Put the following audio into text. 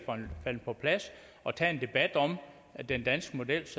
faldet på plads at tage en debat om den danske models